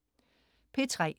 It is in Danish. P3: